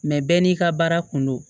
Mɛ bɛɛ n'i ka baara kun don